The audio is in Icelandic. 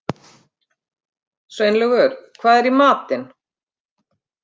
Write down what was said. Sveinlaugur, hvað er í matinn?